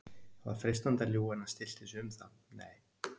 Það var freistandi að ljúga en hann stillti sig um það: Nei